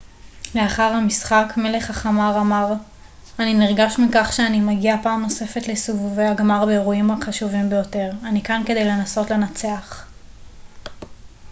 לאחר המשחק מלך החמר אמר אני נרגש מכך שאני מגיע פעם נוספת לסיבובי הגמר באירועים החשובים ביותר אני כאן כדי לנסות לנצח